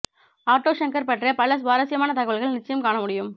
auto Shankar பற்றிய பல சுவாரஸ்யமான தகவல்கள் நிச்சயம் காணமுடியும்